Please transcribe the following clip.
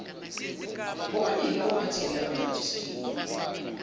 bobaili ophathini abangarejistiwe